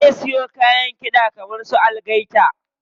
Zai siyo kayan kiɗa kaman su algaita.